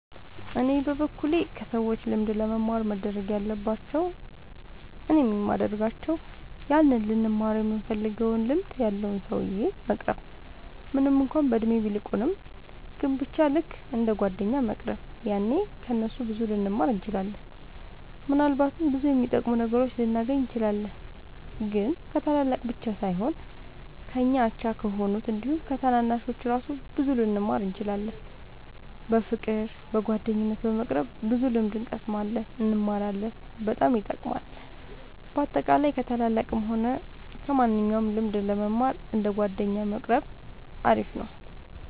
እኔ በበኩሌ ከሰዎች ልምድ ለመማር መደረግ ያለባቸው እኔም የሚደርጋቸው ያንን ልንማረው ይምንፈልገውን ልምድ ያለውን ሰውዬ መቅረብ ምንም እንኳን በእድሜ ቢልቁንም ግን በቻ ልክ እንደ ጓደኛ መቅረብ ያኔ ከ እነሱ ብዙ ልንማር እንችላለን። ምናልባትም ብዙ የሚጠቅሙ ነገሮችን ልናገኝ እንችላለን። ግን ከታላላቅ ብቻ ሳይሆን ከኛ አቻ ከሆኑት አንዲሁም ከታናናሾቹ እራሱ ብዙ ልንማር እንችላለን። በፍቅር በጓደኝነት በመቅረብ ብዙ ልምድ እንቀስማለን እንማራለን በጣም ይጠቅማል። በአጠቃላይ ከ ታላላቅም ሆነ ከማንኞቹም ልምድ ለመማር እንደ ጓደኛ መቆረብ አሪፍ ነው